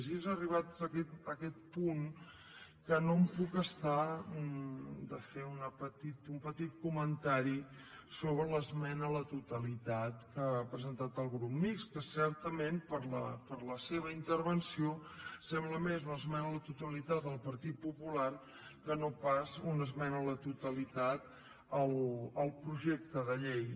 i és arribats a aquest punt que no em puc estar de fer un petit comentari sobre l’esmena a la totalitat que ha presentat el grup mixt que certament per la seva intervenció sembla més una esmena a la totalitat al partit popular que no pas una esmena a la totalitat al projecte de llei